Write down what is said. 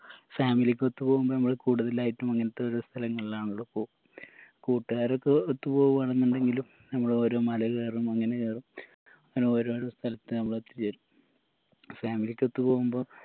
family ക്കൊത്ത് പോവുമ്പോ നമ്മള് കൂടുതലായിട്ടും അങ്ങനത്തെ ഓരോ സ്ഥലങ്ങളിലാണല്ലോ പോവൂ കൂട്ടുകാരൊക്കെ ഒത്ത് പോവു ആണെന്നുണ്ടെങ്കിലും നമ്മള് ഓരോ മാള കേറും അങ്ങനെ കേറും അങ്ങനെ ഓരോരോ സ്ഥലത്ത് നമ്മളെത്തി ചേരും family trip പോവുമ്പോ